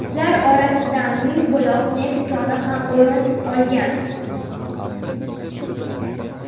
Ular orasidan Mingbuloq neft koni ham o‘rin olgan .